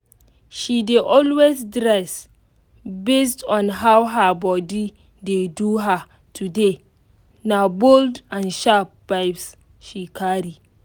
she dey always dress based on how her body dey do her today na bold and sharp vibes she carry